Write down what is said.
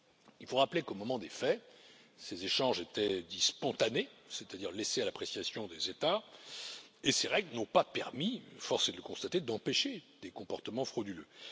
Il faut rappeler qu'au moment des faits, ces échanges étaient dits spontanés, c'est à dire laissés à l'appréciation des États et ces règles n'ont pas permis force est de le constater d'empêcher des comportements frauduleux.